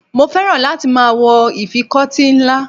Mo féràn láti máa ìfikọ́tí ńlá.